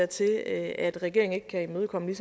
til at at regeringen ikke kan imødekomme